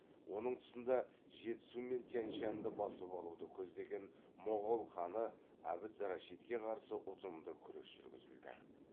оның тұсында жетісу мен тянь шаньды басып алуды көздеген моғол ханы абд рашидке қарсы ұтымды күрес жүргізілді